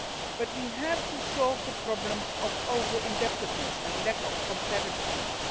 But we have to solve the problems of over indebtedness and lack of competitiveness.